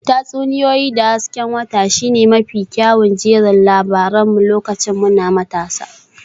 Tatsuniyoyi da hasken wata shine mafi kyawun jerin labaran mu lokacin muna matasa